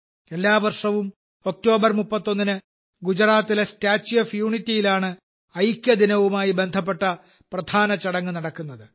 എല്ലാ വർഷവും ഒക്ടോബർ 31 ന് ഗുജറാത്തിലെ സ്റ്റാച്യു ഓഫ് യൂണിറ്റിയിലാണ് ഐക്യദിനവുമായി ബന്ധപ്പെട്ട പ്രധാന ചടങ്ങ് നടക്കുന്നത്